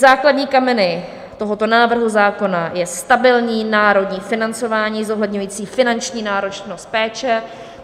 Základní kameny tohoto návrhu zákona je stabilní národní financování zohledňující finanční náročnost péče.